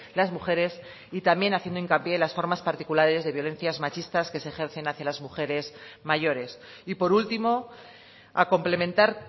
las mujeres y también haciendo hincapié en las formas particulares de violencias machistas que se ejercen hacia las mujeres mayores y por último a complementar